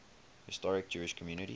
historic jewish communities